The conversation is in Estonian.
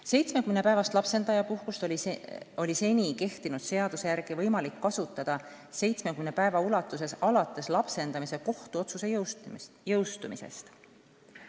70-päevast lapsendajapuhkust on seni kehtiva seaduse järgi võimalik kasutada 70 päeva ulatuses alates lapsendamise kohtuotsuse jõustumisest.